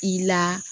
I la